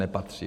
Nepatří.